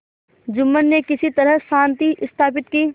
जुम्मन ने किसी तरह शांति स्थापित की